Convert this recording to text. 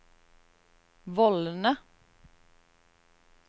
vollene